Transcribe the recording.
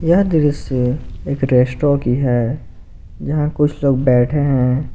यह दृश्य एक रेस्ट्रो की है यहां कुछ लोग बैठे हैं।